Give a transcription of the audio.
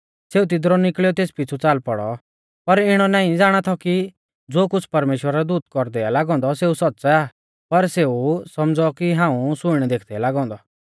सेऊ तिदरु निकल़ियौ तेस पिछ़ु च़ाल पौड़ौ पर इणौ नाईं ज़ाणा थौ कि ज़ो कुछ़ परमेश्‍वरा रौ दूत कौरदै आ लागौ औन्दौ सेऊ सौच़्च़ आ पर सेऊ सौमझ़ौ कि हाऊं सुइणै देखदै लागौ औन्दौ